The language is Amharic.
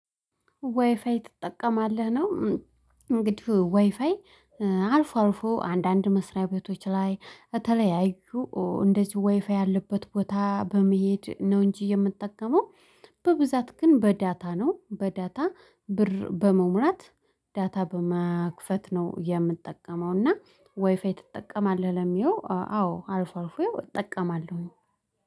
ዋይፋይ ትጠቀማለህ ነው? እንግዲህ ዋይፋይ አልፎ አልፎ አንዳንድ መስሪያ ቤቶች ላይ የተለያዩ እንደዚሁ ወይፋይ ያለበት ቦታ በመሄድ ነው እንጂ የምጠቀመው። በብዛት ግን በዳታ ነው በዳታ ብር በመሙላት ዳታ በመክፈት ነው የምትጠቀመው። እና ወይፋይ ትጠቀማለህ? ለሚለው አዎ አልፎ አልፎ እጠቀማለሁኝ።